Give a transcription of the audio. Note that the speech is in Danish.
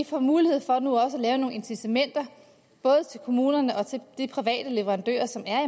får mulighed for at lave nogle incitamenter både til kommunerne og til de private leverandører som er